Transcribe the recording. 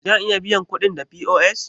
Zan iya biyan kuɗin da POS?